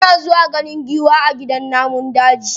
Muna zuwa ganin giwa a gidan namun daji.